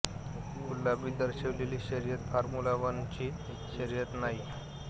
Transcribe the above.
गुलाबी दर्शवलेली शर्यत फॉर्म्युला वनची शर्यत नाही आहे